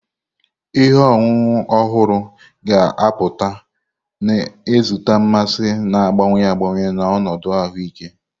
Ihe ọṅụṅụ ọhụrụ ga-apụta, na-ezute mmasị na-agbanwe agbanwe na ọnọdụ ahụike.